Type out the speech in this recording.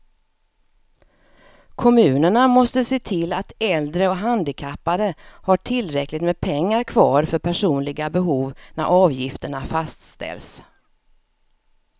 Kommunerna måste se till att äldre och handikappade har tillräckligt med pengar kvar för personliga behov när avgifterna fastställs.